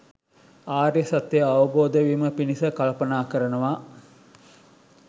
ආර්ය සත්‍යය අවබෝධ වීම පිණිස කල්පනා කරනවා.